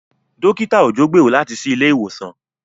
Dókítà Òjó gbèrò láti ṣí ilé ìwòsàn.